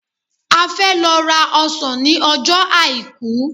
A fẹ́ lọ ra ọsàn ní ọjọ́ àìkú.